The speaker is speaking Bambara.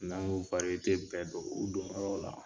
N'an ye wariyete bɛɛ don u don yɔrɔ la